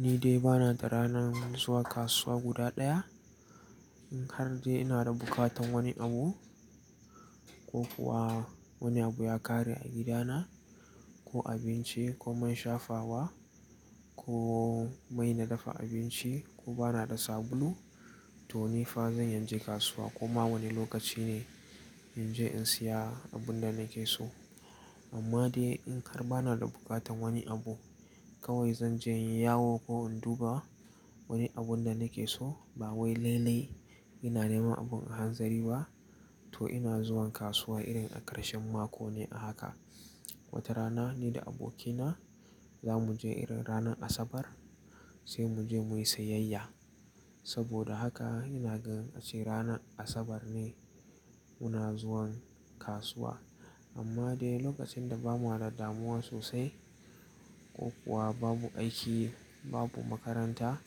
Ni dai bana da ranar zuwa kasuwa guda ɗaya. In har dai ina da bukatan wani abu ko kuwa wani abu ya ƙare a gidana, ko abinci, ko man shafawa ko mai na dafa abinci ko bana da sabulu, to ni fa zan iya je kasuwa Koma wani lokaci ne inje in siya abun da nake so. Amma dai in har bana da buƙatan wani abu kawai zanje in yi yawo ko in duba wani abun da nake so. Ba wai lailai ina nema abun a hanzari ba, to ina zuwan kasuwa irin a ƙarshen mako ne a haka. Wata rana ni da abokina za muje irin ranar Asabar sai muje muyi sayayya. Saboda haka ina gan ace ranar Asabar ne muna zuwan kasuwa. Amma dai lokacin da ba mu da damuwa sosai ko kuwa babu aiki, babu makaranta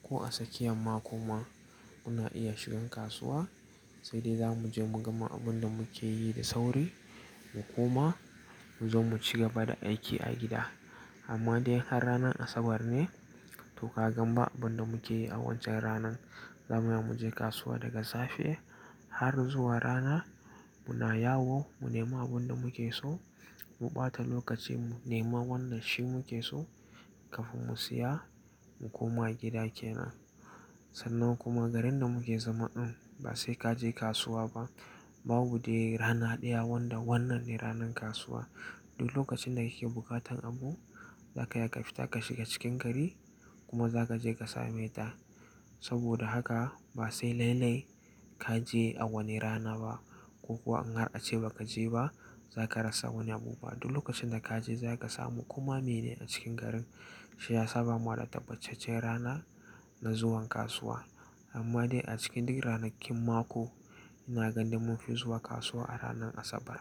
ko a tsakiyan mako ma muna iya shigan kasuwa. Sai dai za muje mu gama abunda muke yi da sauri mu koma mu zo muci gaba da aiki a gida. Amma dai in har ranar Asabar ne, to ka gan ba abunda muke yi a wancan ranan. Zamu iya muje kasuwa daga safe har zuwa rana. Muna yawo mu nema abunda muke so, mu ɓata lokacin mu nema wanna shi muke so kafin mu siya mu koma gida kenan. Sannan kuma garin da muke zama ɗin ba sai kaje kasuwa ba. Babu dai rana ɗaya wanda wannan ne ranan kasuwa. Duk lokacin da kike bukatan abu zaka iya ka fita ka shiga cikin gari kuma za kaje ka same ta. Saboda haka ba sai lailai kaje a wani rana ba, ko kuwa in har ace ba kaje ba za karasa wani abu ba. Duk lokacin da kaje za kasamu. Koma mene a cikin garin, shi ya sa ba mu da tabbacaccen rana na zuwan kasuwa. Amma dai a cikin dik ranakin mako ina ganin munfi zuwa kasuwa a ranar Asabar.